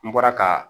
N bɔra ka